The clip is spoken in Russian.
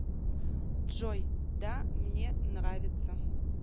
джой да мне нравится